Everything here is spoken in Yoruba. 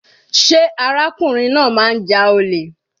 Sé arákùnrin náà máa ń ja olè.